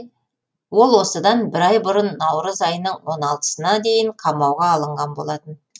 ол осыдан бір ай бұрын наурыз айының он алтысына дейін қамауға алынған болатын